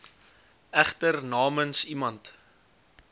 egter namens iemand